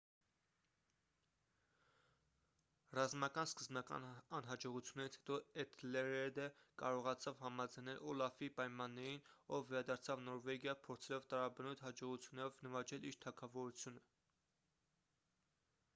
ռազմական սկզբնական անհաջողություններից հետո էթելրեդը կարողացավ համաձայնել օլաֆի պայմաններին ով վերադարձավ նորվեգիա փորձելով տարաբնույթ հաջողություններով նվաճել իր թագավորությունը